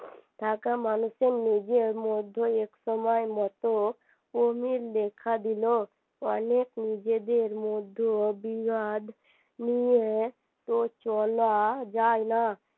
থাকা মানুষদের নিজের মধ্যে একসময় মত অমিল দেখা দিলো অনেক নিজেদের মধ্যে বিবাদ নিয়ে তো চলা যায়না